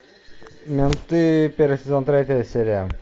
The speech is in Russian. менты первый сезон третья серия